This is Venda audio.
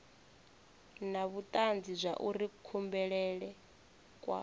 na vhutanzi zwauri kubulele kwa